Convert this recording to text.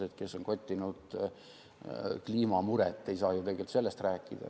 Need, kes on kottinud kliimamuret, ei saa ju sellest rääkida.